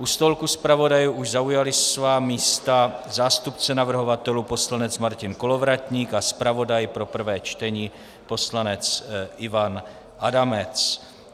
U stolku zpravodajů už zaujali svá místa zástupce navrhovatelů poslanec Martin Kolovratník a zpravodaj pro prvé čtení poslanec Ivan Adamec.